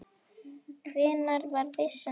Hvenær var byssan fundin upp?